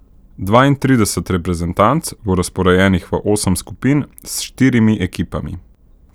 Dvaintrideset reprezentanc bo razporejenih v osem skupin s štirimi ekipami.